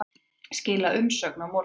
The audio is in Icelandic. Skila umsögn á morgun